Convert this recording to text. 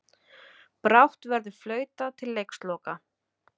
Brátt verður flautað til leiksloka